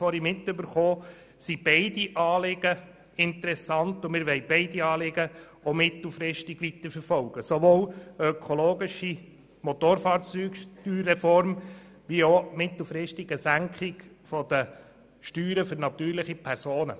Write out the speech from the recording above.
Für die BDP sind beide Anliegen interessant, und wir wollen mittelfristig auch beide Anliegen weiterverfolgen, sowohl die ökologische Motorfahrzeugsteuerreform als auch mittelfristig eine Senkung der Steuern für natürliche Personen.